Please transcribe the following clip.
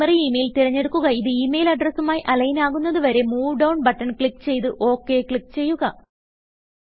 primary email തിരഞ്ഞെടുക്കുകഇത് email അഡ്രസ്സുമായി align ആകുന്നത് വരെ മൂവ് ഡൌൺ ബട്ടൺ ക്ലിക്ക് ചെയ്ത് ഒക് ക്ലിക്ക് ചെയ്യുക